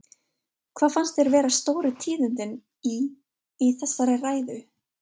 Hvað fannst þér vera stóru tíðindin í, í þessari ræðu?